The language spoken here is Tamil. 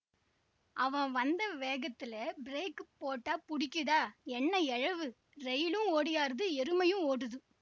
அவன் வந்த வேகத்திலே பிரேக் போட்டாப் புடிக்கிதா என்னா எழவுரயிலும் ஓடியாருது எருமையும் ஓடுது